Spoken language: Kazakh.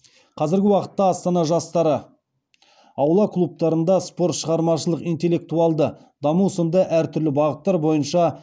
қазіргі уақытта астана жастары аула клубтарында спорт шығармашылық интеллектуалды даму сынды әртүрлі бағыттар бойынша